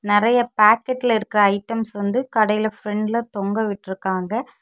நெறைய பாக்கெட்ல இருக்குற ஐட்டம்ஸ் வந்து கடையில பிரண்ட்ல தொங்க விட்ருக்காங்க.